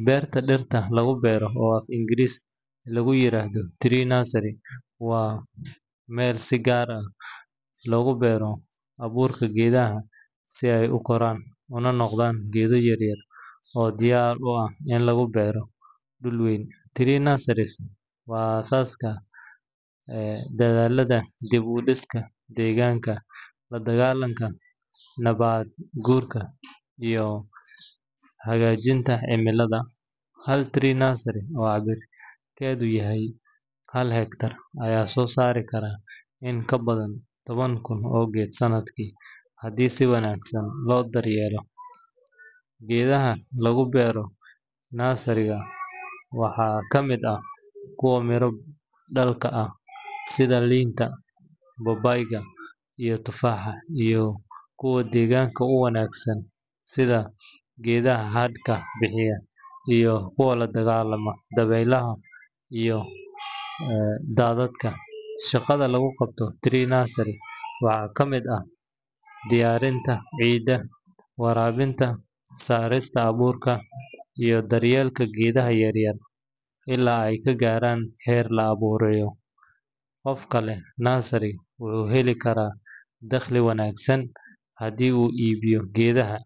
Beerta dhirta lagu beero, oo af-Ingiriisi lagu yiraahdo tree nursery, waa meel si gaar ah loogu beero abuurka geedaha si ay u koraan una noqdaan geedo yaryar oo diyaar u ah in lagu beero dhul weyn. Tree nurseries waa aas-aaska dadaallada dib-u-dhiska deegaanka, la-dagaalanka nabaad-guurka, iyo hagaajinta cimilada. Hal tree nursery oo cabbirkeedu yahay hal hektar ayaa soo saari kara in ka badan toban kun oo geed sannadkii, haddii si wanaagsan loo daryeelo. Geedaha lagu beero nursery-ga waxaa ka mid ah kuwa miro-dhalka ah sida liinta, babaayga, iyo tufaaxa, iyo kuwa deegaanka u wanaagsan sida geedaha hadhka bixiya iyo kuwa la dagaalama dabaylaha iyo daadadka. Shaqada lagu qabto tree nursery waxaa ka mid ah diyaarinta ciidda, waraabinta, saarista abuurka, iyo daryeelka geedaha yaryar ilaa ay ka gaarayaan heer la beerayo. Qofka leh tree nursery wuxuu heli karaa dakhli wanaagsan haddii uu iibiyo geedaha